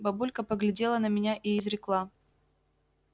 бабулька поглядела на меня и изрекла